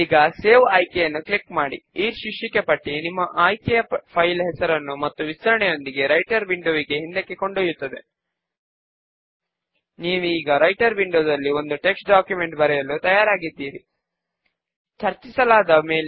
ఇది మాత్రమే సంబంధము కలిగిన ఫీల్డ్ కనుక పైన ఉన్న రెండు డ్రాప్ డౌన్స్ నుంచి మనము మెంబెరిడ్ ఫీల్డ్ ను ఎంపిక చేసుకుని నెక్స్ట్ బటన్ పైన క్లిక్ చేస్తాము